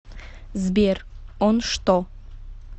сбер он что